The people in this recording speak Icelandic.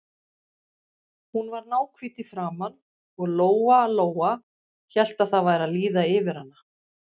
Hún var náhvít í framan og Lóa-Lóa hélt að það væri að líða yfir hana.